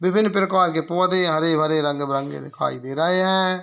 विभिन्न प्रकार के पौधे हरे-भरे रंग-बिरंगे दिखाई दे रहे हैं।